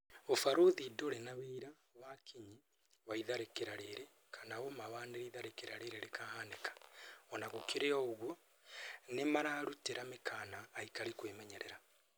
"ũbarothi ndũrĩ na wĩira wa kinyi wa itharĩkĩra rĩrĩ kana ũma wa nĩrĩ itharĩkĩra rĩrĩ rĩkahanika," Ona gũkĩrĩ ũguo, nĩmararutĩra mĩkana aikari kwĩmenyerera